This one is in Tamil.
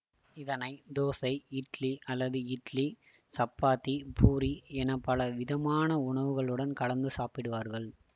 இதனை தோசை இட்லி அல்லது இட்லி சப்பாத்தி பூரி எனப்பல விதமான உணவுகளுடன் கலந்து சாப்பிடுவார்கள்